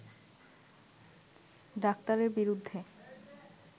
ডাক্তারের বিরুদ্ধে